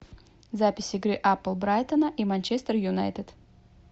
запись игры апл брайтона и манчестер юнайтед